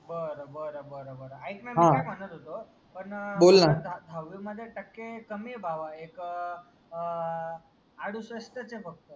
बर बर बर बर ऐक ना मी कायम्हणत होतो. दहावी मध्ये टक्के कमी आहे भावा एक अह अडुसष्टचे फक्त.